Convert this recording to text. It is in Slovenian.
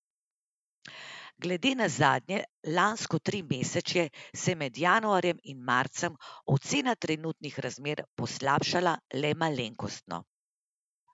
Glede na zadnje lansko trimesečje se je med januarjem in marcem ocena trenutnih razmer poslabšala le malenkostno.